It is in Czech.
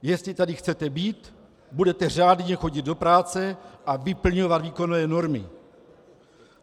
Jestli tady chcete být, budete řádně chodit do práce a vyplňovat výkonové normy.